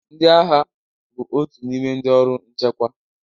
Ndị agha bụ otu n'ime ndị ọrụ nchekwa